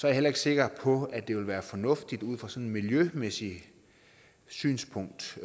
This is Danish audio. jeg heller ikke sikker på at det vil være fornuftigt ud fra sådan et miljømæssigt synspunkt